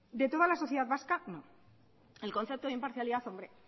de toda la sociedad vasca no el concepto de imparcialidad hombre